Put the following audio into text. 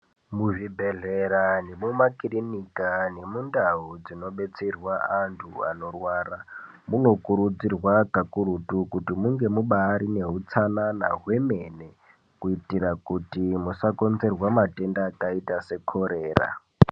Muzvibhedhlera zviri mumakirinika nemundau dzinobetserwa anhu anorwara anokurudzirwa kakurutu munge mubatori nehutsanana hwemene kuitira kuti musakonzerwa matenda akaita sekorera.